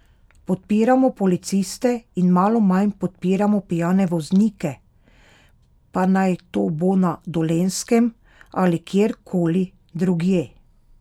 Podpiramo policiste in malo manj podpiramo pijane voznike, pa naj to bo na Dolenjskem ali kjer koli drugje!